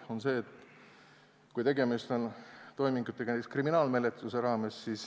Põhjus on see, et kui tegemist on toimingutega näiteks kriminaalmenetluse raames, siis